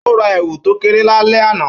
Ó ra èwù tó kéré lálẹ́ àná